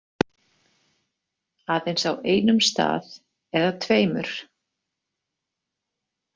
Aðeins á einum stað eða tveimur.